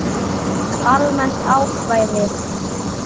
Almennt ákvæði.